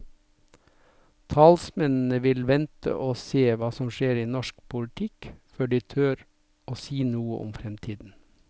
Talsmennene vil vente og se hva som skjer i norsk politikk før de tør å si noe om fremtiden.